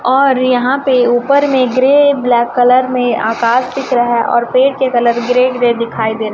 और यहाँ पे ऊपर में ग्रे ब्लैक कलर में आकाश दिख रहा है और पेड़ के कलर ग्रे ग्रे दिखाई दे रहें --